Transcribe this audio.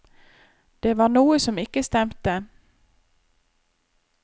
Det var noe som ikke stemte.